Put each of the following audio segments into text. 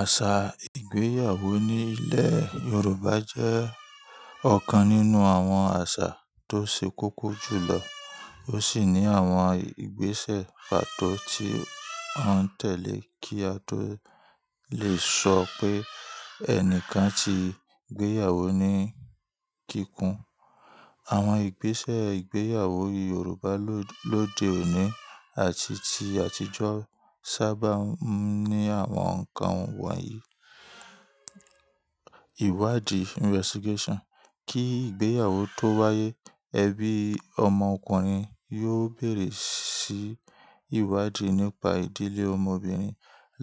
Àṣà ìgbéyàwó nílẹ̀ Yorùbá jẹ́ ọ̀kan nínú àwọn àṣà tó ṣe kókó jù lọ. Ó sì ní àwọn ìgbésẹ̀ pàtó tí a ń tẹ̀lé kí a tó lè sọ pé ẹnìkan ti gbéyàwó ní kíkún. Àwọn ìgbésẹ̀ ìgbéyàwó Yorùbá-- lo, lóde òní àti ti àtijọ́ sábà ń ní àwọn nǹkan wọ̀nyí: ìwádìí investigation. Kí ìgbéyàwó tó wáyé, ẹbí ọmọ ọkùnrin yóò bèrè sí ìwádìí nípa ìdílé ọmọbìnrin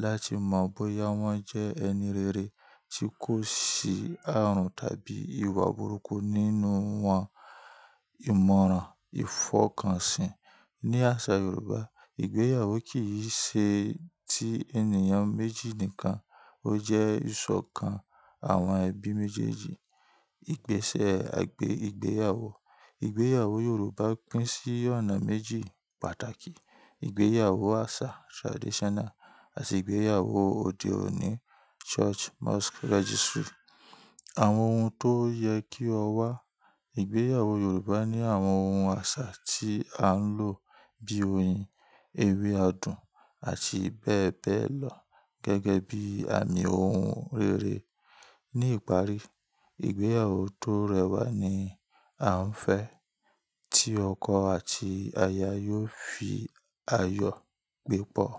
láti mọ bóyá wọ́n jẹ́ ẹni rere tí kò sí ààrùn tàbí ìwà burúkú nínú wọn. Ìmọ̀ràn, ìfọkànsìn. Ní àṣà Yorùbá, ìgbéyàwó kìí ṣe ti ènìyàn méjì nìkan, ó jẹ́ ìsọ̀kan àwọn ẹbí méjèèjì. Ìgbésẹ̀ àgbè ìgbéyàwó. Ìgbéyàwó Yorùbá pín sí ọ̀nà méjì pàtàkì. Ìgbéyàwó àṣà traditional àti ìgbéyàwó òde òní church, mosque registry. Àwọn ohun tó yẹ kí ó wà. Ìgbéyàwó Yorùbá ní àwọn ohun àṣà tí à ń lò bíi oyin, ewé adùn àti bẹ́ẹ̀ bẹ́ẹ̀ lọ gẹ́gẹ́ bí àmì ohun rere. Ní ìparí, ìgbéyàwó tó rẹwà ni a ń fẹ́ tí ọkọ àti aya yóò fi ayọ̀ gbé pọ̀.